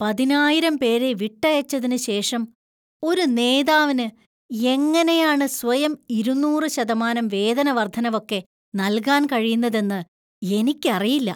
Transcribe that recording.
പതിനായിരം പേരെ വിട്ടയച്ചതിന് ശേഷം ഒരു നേതാവിന് എങ്ങനെയാണ് സ്വയം ഇരുന്നൂറ് ശതമാനം വേതന വര്‍ധനവൊക്കെ നൽകാൻ കഴിയുന്നതെന്നു എനിക്കറിയില്ല.